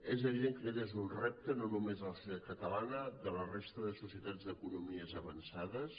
és evident que aquest és un repte no només de la societat catalana de la resta de societats d’economies avançades